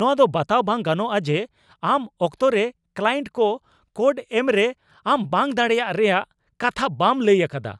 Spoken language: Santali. ᱱᱚᱶᱟ ᱫᱚ ᱵᱟᱛᱟᱣ ᱵᱟᱝ ᱜᱟᱱᱚᱜᱼᱟ ᱡᱮ ᱟᱢ ᱚᱠᱛᱚᱨᱮ ᱠᱞᱟᱭᱮᱱᱴ ᱠᱚ ᱠᱳᱰ ᱮᱢᱨᱮ ᱟᱢ ᱵᱟᱝ ᱫᱟᱲᱮᱭᱟᱜ ᱨᱮᱭᱟᱜ ᱠᱟᱛᱷᱟ ᱵᱟᱢ ᱞᱟᱹᱭ ᱟᱠᱟᱫᱟ ᱾